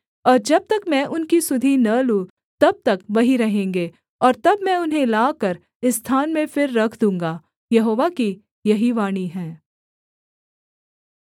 और जब तक मैं उनकी सुधि न लूँ तब तक वहीं रहेंगे और तब मैं उन्हें लाकर इस स्थान में फिर रख दूँगा यहोवा की यही वाणी है